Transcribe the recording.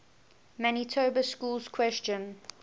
manitoba schools question